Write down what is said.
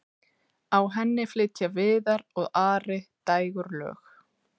á henni flytja viðar og ari dægurlög